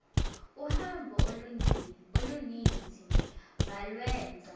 uhambo oluninzi balwenza